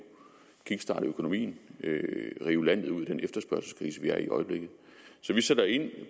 kickstarte økonomien og rive landet ud af den efterspørgselskrise vi er i i øjeblikket så vi sætter ind